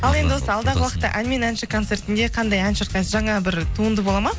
ал енді осы алдағы уақытта ән мен әнші концертінде қандай ән шырқайсыз жаңа бір туынды болады ма